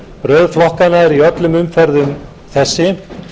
röð flokkanna er í öllum umferðum þessi